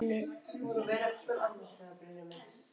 Sem við áttum skilið.